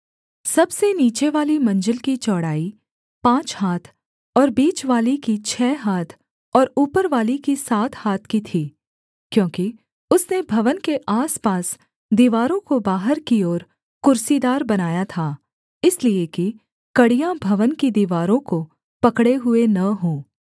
सबसे नीचेवाली मंजिल की चौड़ाई पाँच हाथ और बीचवाली की छः हाथ और ऊपरवाली की सात हाथ की थी क्योंकि उसने भवन के आसपास दीवारों को बाहर की ओर कुर्सीदार बनाया था इसलिए कि कड़ियाँ भवन की दीवारों को पकड़े हुए न हों